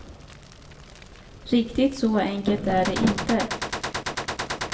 Riktigt så enkelt är det inte.